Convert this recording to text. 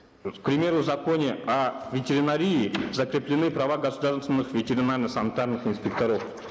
к примеру в законе о ветеринарии закреплены права государственных ветеринарно санитарных инспекторов